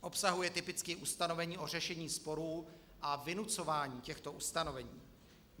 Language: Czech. Obsahuje typicky ustanovení o řešení sporů a vynucování těchto ustanovení.